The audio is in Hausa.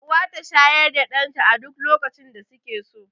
Uwa ta shayar da ɗan ta a duk lokacin da suke so